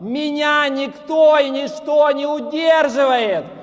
меня никто и ничто не удерживает